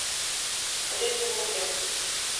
ветлуги